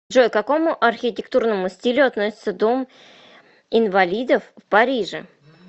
джой к какому архитектурному стилю относится дом инвалидов в париже